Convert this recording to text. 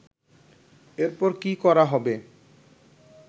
এরপর কি করা হবে